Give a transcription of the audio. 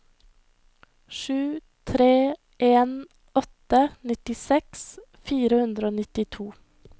sju tre en åtte nittiseks fire hundre og nittito